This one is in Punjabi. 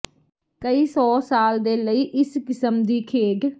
ਕਈ ਸੌ ਸਾਲ ਦੇ ਲਈ ਇਸ ਕਿਸਮ ਦੀ ਖੇਡ